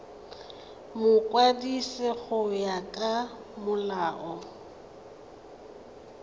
mokwadisi go ya ka molao